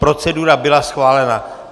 Procedura byla schválena.